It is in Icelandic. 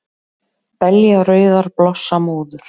Belja rauðar blossa móður,